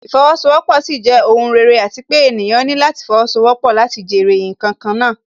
Ìfowósowọ́pọ̀ sì jẹ́ ohùn rere àti pé ènìyàn ní láti fowósowọ́pọ̀ láti jèrè ǹkan kan náà